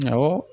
Awɔ